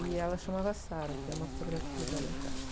E ela chamava, tem uma fotografia dela em casa.